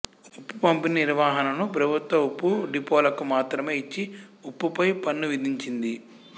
ఉప్పు పంపిణీ నిర్వహణను ప్రభుత్వ ఉప్పు డిపోలకు మాత్రమే ఇచ్చి ఉప్పుపై పన్ను విధించింది